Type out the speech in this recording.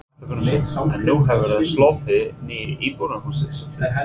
Hafþór Gunnarsson: En nú hefur sloppið nýja íbúðarhúsið svo til?